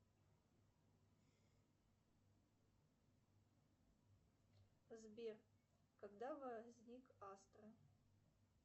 сбер когда возник астра